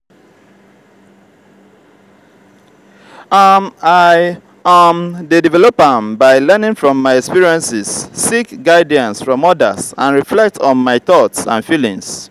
um i um dey develop am by learning from my experiences seek guidance from odas and reflect on my thoughts and feelings.